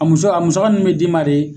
A muso ,a musaka nunnu be d'i ma de